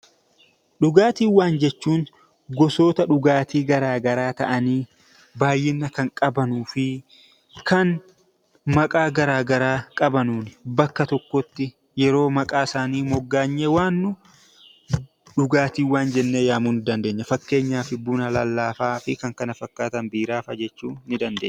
Dhugaatiiwwan jechuun gosoota dhugaatii garaa garaa ta'anii baay'ina kan qabanuu fi kan maqaa garaa garaa qabanuuni bakka tokkotti yeroo maqaa isaanii moggaanyee waamnu dhugaatiiwwan jennee yaamuu ni dandeenya. Fakkeenyaaf buna lallaafaa fi kan kana fakkaatan, biiraa fa'a jechuu ni dandeenya.